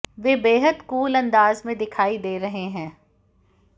वे बेहद कूल अंदाज में दिखाई दे रहे हैं